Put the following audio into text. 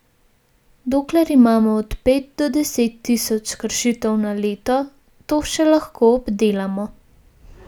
Dokler imamo od pet do deset tisoč kršitev na leto, to še lahko obdelamo.